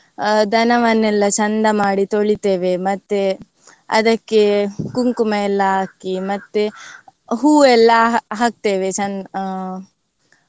ದನವನ್ನೆಲ್ಲಾ ಚಂದ ಮಾಡಿ ತೊಳಿತೇವೆ ಮತ್ತೆ ಅದಕ್ಕೆ ಕುಂಕುಮ ಎಲ್ಲ ಹಾಕಿ ಮತ್ತೆ ಹೂ ಎಲ್ಲ ಹಾಕ್ತೇವೆ ಚೆಂ~ ಆ